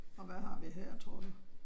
Og hvad har vi her tror du?